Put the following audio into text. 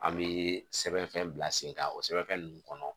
An bɛ sɛbɛnfɛn bila sen kan o sɛbɛnfɛn ninnu kɔnɔ